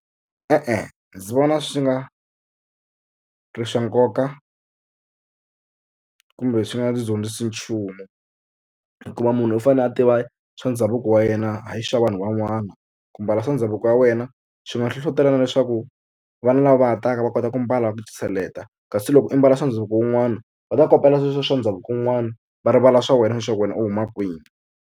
E-e ndzi vona swi nga ri swa nkoka kumbe swi nga ndzi dyondzisi nchumu hikuva munhu u fanele a tiva swa ndhavuko wa yena a hayi swa vanhu van'wana. Ku mbala swa ndhavuko wa wena swi nga hlohlotelana leswaku vana lava va ha taka va kota ku mbala kasi loko i mbala swa ndhavuko wun'wana va ta kopela sweswiya swa ndhavuko wun'wana va rivala swa wena leswaku wena u huma kwihi.